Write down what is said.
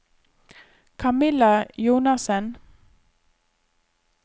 Camilla Jonassen